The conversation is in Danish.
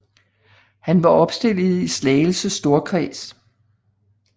Han var opstillet i Slagelse storkreds